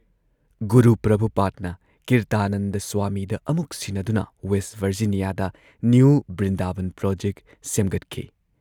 ꯒꯨꯔꯨ ꯄ꯭ꯔꯚꯨꯄꯥꯗꯅ ꯀꯤꯔꯇꯥꯅꯟꯗ ꯁ꯭ꯋꯥꯃꯤꯗ ꯑꯃꯨꯛ ꯁꯤꯟꯅꯗꯨꯅ ꯋꯦꯁꯠ ꯚꯔꯖꯤꯅꯤꯌꯥꯗ ꯅ꯭ꯌꯨ ꯕ꯭ꯔꯤꯟꯗꯥꯕꯟ ꯄ꯭ꯔꯣꯖꯦꯛ ꯁꯦꯝꯒꯠꯈꯤ ꯫